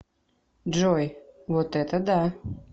джой вот это да